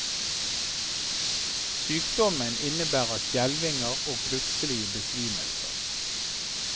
Sykdommen innebærer skjelvinger og plutselige besvimelser.